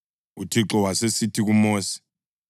UThixo wasesithi kuMosi,